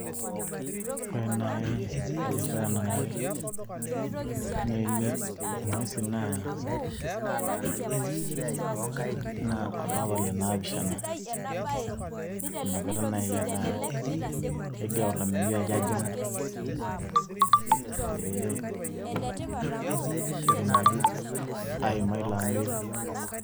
ore naai erishata nanare, neeni inguesi naa olapa le naapishana. inakata naai eeta kegira olameyu ajo ajing'u, pee etumoki aaima ilo ameyu.